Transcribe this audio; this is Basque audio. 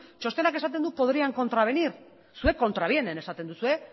txostenak esaten du podrían contravenir zuek contravienen esaten duzue